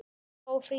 Helgi og Fríða.